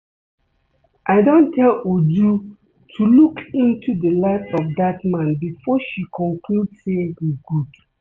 I don tell Uju to look into the life of dat man before she conclude say he good